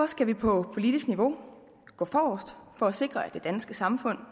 skal vi på politisk niveau gå forrest for at sikre at det danske samfund